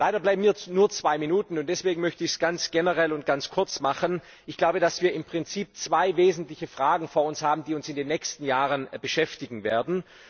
Leider bleiben mir nur zwei Minuten und deswegen möchte ich es ganz generell und ganz kurz machen Ich glaube, dass wir im Prinzip zwei wesentliche Fragen vor uns haben, die uns in den nächsten Jahren beschäftigen werden.